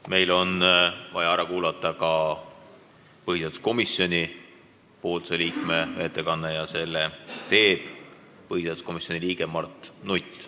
Meil on vaja ära kuulata ka põhiseaduskomisjoni liikme ettekanne, mille teeb Mart Nutt.